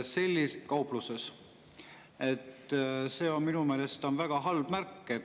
" See on minu meelest väga halb märk.